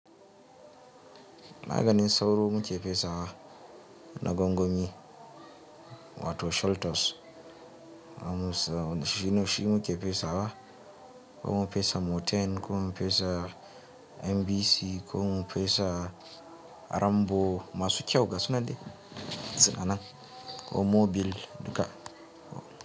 Maganin sauro muke fesawa na gwangwani, wato Sholtos. Shi muke fesawa, ko mu fesa Moten, ko mu fesa MBC, ko mu fesa Rambo, masu kyau gasu na datsina nan, ko mobil duka.